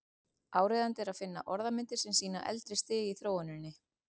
Áríðandi er að finna orðmyndir sem sýna eldra stig í þróuninni.